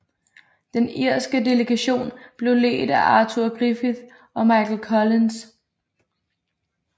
Den irske delegation blev ledt af Arthur Griffith og Michael Collins